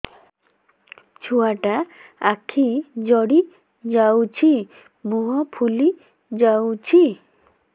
ଛୁଆଟା ଆଖି ଜଡ଼ି ଯାଉଛି ମୁହଁ ଫୁଲି ଯାଉଛି